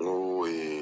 N ko